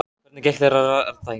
Hvernig gekk þér að rata hingað?